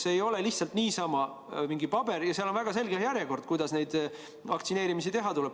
See ei ole lihtsalt niisama mingisugune paber, vaid seal on väga selge järjekord, kuidas vaktsineerimisi teha tuleb.